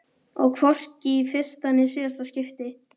Og hvorki í fyrsta né síðasta skipti.